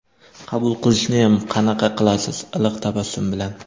Qabul qilishniyam qanaqa qilasiz, "iliq tabassum bilan".